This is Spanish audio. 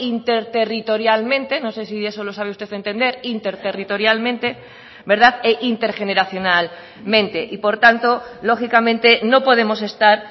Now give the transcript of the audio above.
interterritorialmente no sé si eso lo sabe usted entender interterritorialmente e intergeneracionalmente y por tanto lógicamente no podemos estar